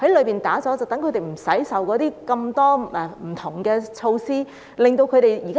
這樣他們便不用受到諸多不同措施的限制。